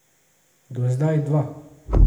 Do zdaj dva.